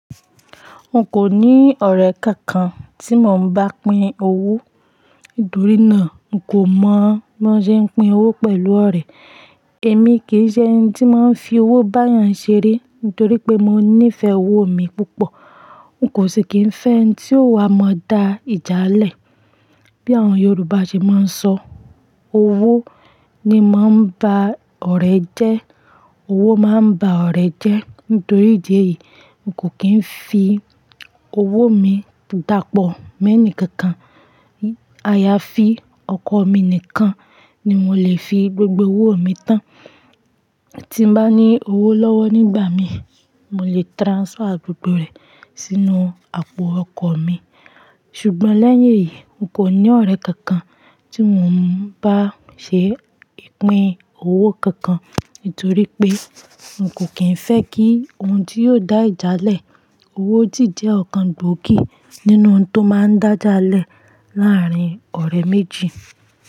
N kò ní ọ̀rẹ́ kankan tí mò ń bá pín owó, nítorí náà n kò mọ̀ biwon ṣe ń pín owó pẹ̀lú ọ̀rẹ́. Èmi kì í ṣe ẹni tí máa ń fi owó bá èèyàn ṣeré nítorí pé mo níìfẹ̀ owó mi púpọ̀. N kò ṣe kì ń fẹ́ ẹni tí yóò wá mọ da ìjà lẹ̀. Bí àwọn Yorùbá ṣe máa ń sọ, "Owó ni máa ń ba ọ̀rẹ́ jẹ́, owó máa ń ba ọ̀rẹ́ jẹ́." Nítorí ìjẹ́ yìí, n kò kí ń fi owó mi dàpọ̀ mẹ́ẹ̀ni kankan. Àyàfi ọkọ mi nìkan ni mo lè fi gbogbo owó mi tán. Tí bá ní owó lọ́wọ́ nígbà mi, mo lè transfer gbogbo rẹ̀ sínú àpò ọkọ mi. Ṣùgbọ́n lẹ́yìn èyí, n kò ní ọ̀rẹ́ kankan tí mò ń bá ṣe ìpín owó kankan, nítorí pé n kò kí ń fẹ́ kí ohun tí yóò dá ìjà lẹ̀. Owó sì jẹ́ ọ̀kan gbòógì nínú ohun tó máa ń dá ìjà lẹ̀ láàárín ọ̀rẹ́ méjì.